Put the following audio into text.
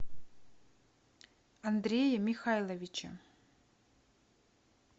андрее михайловиче